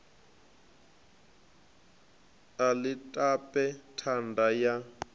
a ḽi tape thanda ya